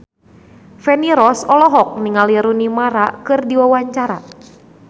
Feni Rose olohok ningali Rooney Mara keur diwawancara